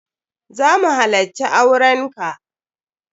Za mu halacci auren ka.